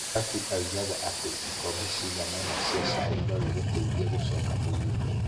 Debbie oigaga atĩ, ikombe cigana ũna cia cai no igũteithie gũcoka mũgima.